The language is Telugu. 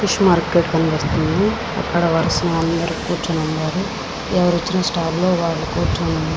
ఫిష్ మార్కెట్ కనిపిస్తుంది. అక్కడ అందరూ వరసగా కూర్చొని ఉన్నారు. ఎవరికీ ఇచ్చిన స్టాల్ లో వాళ్ళు కూర్చొని ఉన్నా --